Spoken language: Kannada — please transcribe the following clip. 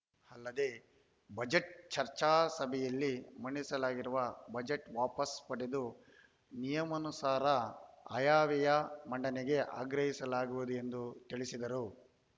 ಅಲ್ಲದೇ ಬಜೆಟ್‌ ಚರ್ಚಾ ಸಭೆಯಲ್ಲಿ ಮಂಡಿಸಲಾಗಿರುವ ಬಜೆಟ್‌ ವಾಪಸ್‌ ಪಡೆದು ನಿಯಮಾನುಸಾರ ಆಯವ್ಯಯ ಮಂಡನೆಗೆ ಆಗ್ರಹಿಸಲಾಗುವುದು ಎಂದು ತಿಳಿಸಿದರು